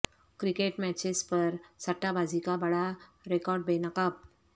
cricket matches پر سٹہ بازی کا بڑا ریاکٹ بے نقاب